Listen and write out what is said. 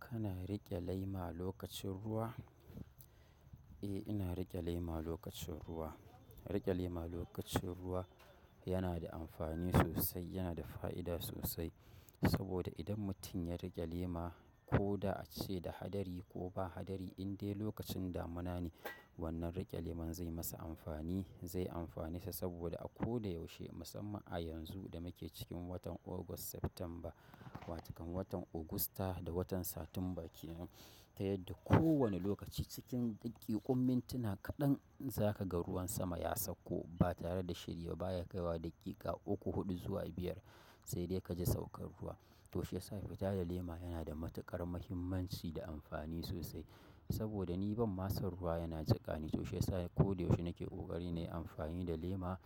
Kana riƙe lema lokacin ruwa? Eh, ina riƙe lema lokacin ruwa. Riƙe lema lokacin ruwa yana da amfani sosai, yana da fa'ida sosai. Saboda idan mutum ya riƙe lema ko da ace da hadari ko ba hadari, indai lokacin damuna ne wannan riƙe leman zai yi masa amfani, zai amfanesa saboda a ko da yaushe musamman a yanzu da muke cikin watan August, September. Watukan watan Augusta da watan Satumba kenan. Ta yadda kowane lokaci cikin daƙiƙun mintuna kaɗan za ka ga ruwan sama ya sauko ba tare da shiri ba, ba ya kai wa daƙiƙa uku, huɗu zuwa biyar sai dai ka ji saukar ruwa. To shi yasa fita da lema yana da matuƙar muhimmanci da amfani sosai. Saboda ni ban mason ruwa yana jiƙani, to shi yasa ko da yaushe nake ƙoƙari na yi amfani da lema